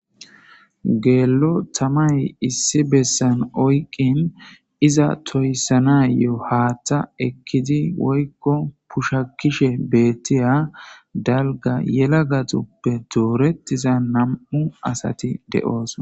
Dello tamay Issi bessan oyikin iza toyssanaw haaththa ekidi woykko pushakishe bettiya dalgga yelagati dooretiza nam'u Bessan asati de'osonna.